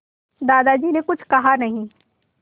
दादाजी ने कुछ कहा नहीं